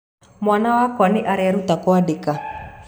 Mwana wakwa nĩ areruta kwandĩka.